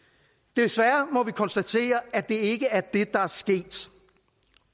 desværre må vi konstatere at det ikke er det der er sket